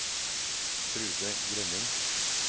Trude Grønning